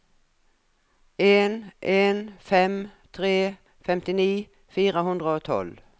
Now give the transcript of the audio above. en en fem tre femtini fire hundre og tolv